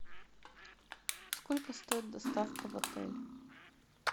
сколько стоит доставка в отель